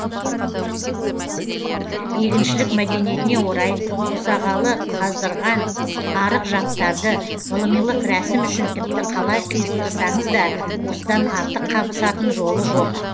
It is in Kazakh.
егіншілік мәдениетіне орай қосағалы қаздырған арық жаптарды ғылымилық рәсім үшін тіпті қалай қиыстырсаңыз да осыдан артық қабысатын жолы жоқ